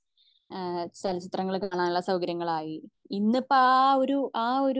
ഏഹ്ഹ് ചലച്ചിത്രങ്ങൾ കാണാൻ ഉള്ള സൗകര്യങ്ങളായി ഇന്നിപ്പോ അഹ് ഒരു